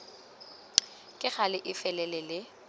ka gale e felele le